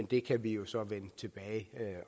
det kan vi jo så vende tilbage